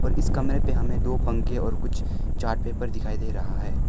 इस कमरे पे हमें दो पंखे और कुछ चार्ट पेपर दिखाई दे रहा है।